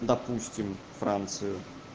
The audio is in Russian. допустим францию